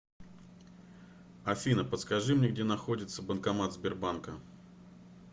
афина подскажи мне где находится банкомат сбербанка